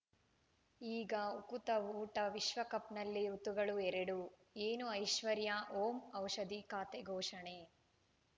ಈಗ ಉಕುತ ಊಟ ವಿಶ್ವಕಪ್‌ನಲ್ಲಿ ಋತುಗಳು ಎರಡು ಏನು ಐಶ್ವರ್ಯಾ ಓಂ ಔಷಧಿ ಖಾತೆ ಘೋಷಣೆ